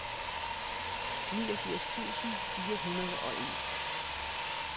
niogfirs tusind fire hundrede og en